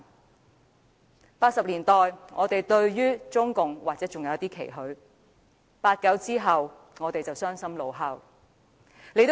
1980年代，我們對中共或者尚有一絲期許 ；1989 年後，我們傷心怒吼。